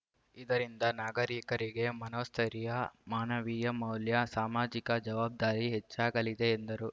ಇದರಿಂದ ನಾಗರೀಕರಿಗೆ ಮನೋಸ್ಥೈರ್ಯ ಮಾನವೀಯ ಮೌಲ್ಯ ಸಾಮಾಜಿಕ ಜವಬ್ದಾರಿ ಹೆಚ್ಚಾಗಲಿದೆ ಎಂದರು